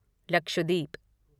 Lakshadweep